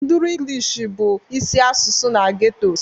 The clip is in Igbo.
Nduru English bụ isi asụsụ na ghettos